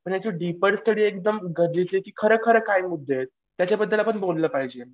पण याची डीपन स्टडी एकदम खरं खरं काय मुद्दे आहेत त्याच्यावर आपण बोललं पाहिजे.